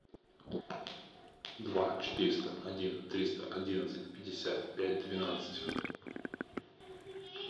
два четыреста один триста одиннадцать пятьдесят пять двенадцать